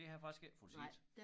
Det har jeg faktisk ikke fået set